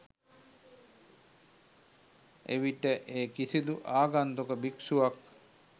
එවිට ඒ කිසිදු ආගන්තුක භික්ෂුවක්